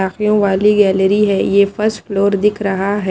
Shopping वाली gallery है ये फर्स्ट फ्लोर दिख रहा है।